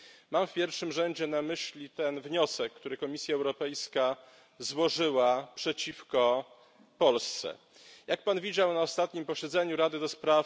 Mam w pierwszym rzędzie na myśli ten wniosek, który Komisja Europejska złożyła przeciwko Polsce. Jak Pan widział, na ostatnim posiedzeniu Rady ds.